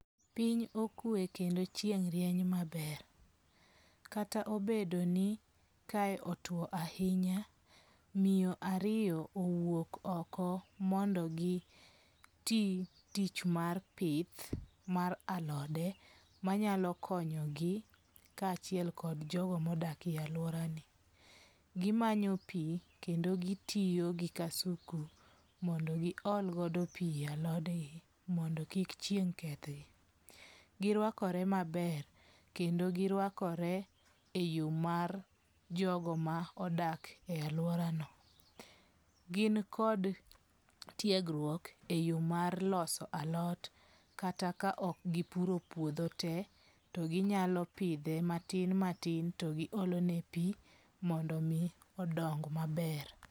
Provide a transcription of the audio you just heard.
Piny okwe kendo chieng' rieny maber. Kata obedo ni kae otwo ahinya, miyo ariyo owuok oko mondo gi ti tich mar pith mar alode manyalo konyogi ka achiel kod jogo modak e aluora ni. Gimanyo pi kendo gitiyo gi kasumu mondo gi olgodo pi e alodgi mondo kik chieng' keth gi. Girwakore maber kendo girwakore e yo mar jogo ma odak e aluora no. Gin kod tiegruok e yo mar loso alot kata ka ok gipuro puodho te to ginyalo pidhe matin matin to gi olone pi mondo mi odong maber.